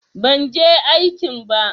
Ban je aikin ba.